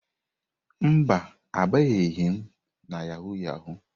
Mba, abanyeghị m na yahụ yahụ.